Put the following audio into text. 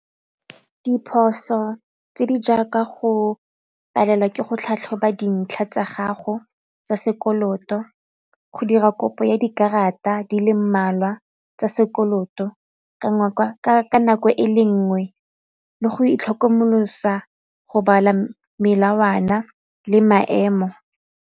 Diphoso tse di jaaka go palelwa ke go tlhatlhoba dintlha tsa gago tsa sekoloto go dira kopo ya dikarata di le mmalwa tsa sekoloto ka nako e le nngwe le go itlhokomolosa go bala melawana le maemo.